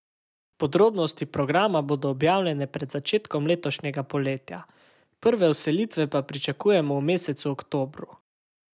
Podrobnosti programa bodo objavljene pred začetkom letošnjega poletja, prve vselitve pa pričakujemo v mesecu oktobru.